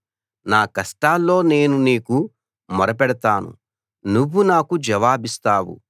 నా కష్టాల్లో నేను నీకు మొరపెడతాను నువ్వు నాకు జవాబిస్తావు